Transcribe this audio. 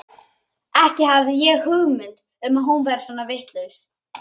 Ekki hafði ég hugmynd um að hún væri svona vitlaus.